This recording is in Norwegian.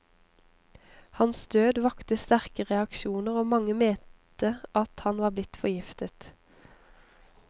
Hans død vakte sterke reaksjoner, og mange mente han var blitt forgiftet.